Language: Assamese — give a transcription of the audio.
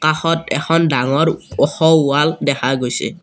কাষত এখন ডাঙৰ ওখ ৱাল দেখা গৈছে।